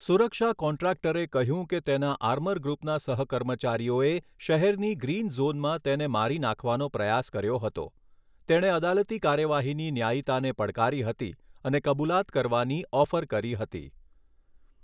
સુરક્ષા કોન્ટ્રાક્ટરે કહ્યું કે તેના આર્મરગ્રુપના સહકર્મચારીઓએ શહેરની ગ્રીન ઝોનમાં તેને મારી નાખવાનો પ્રયાસ કર્યો હતો, તેણે અદાલતી કાર્યવાહીની ન્યાયીતાને પડકારી હતી અને કબુલાત કરવાની ઓફર કરી હતી.